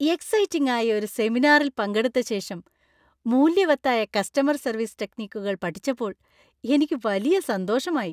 Exciting ആയ ഒരു സെമിനാറിൽ പങ്കെടുത്ത ശേഷം, മൂല്യവത്തായ കസ്റ്റമർ സർവീസ് ടെക്നിക്കുകൾ പഠിച്ചപ്പോൾ എനിക്ക് വലിയ സന്തോഷമായി.